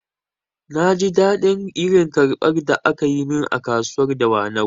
Na ji daɗin irin karbar da akayi min a kasuwar dawanau